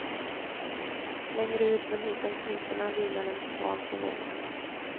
Längre ut men hitom kniporna vilar en svan på vågorna.